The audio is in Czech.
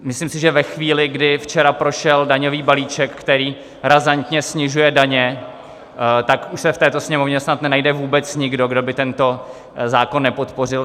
Myslím si, že ve chvíli, kdy včera prošel daňový balíček, který razantně snižuje daně, tak už se v této Sněmovně snad nenajde vůbec nikdo, kdo by tento zákon nepodpořil.